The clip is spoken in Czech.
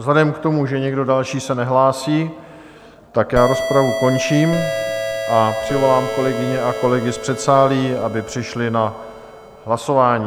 Vzhledem k tomu, že nikdo další se nehlásí, tak já rozpravu končím a přivolám kolegyně a kolegy z předsálí, aby přišli na hlasování.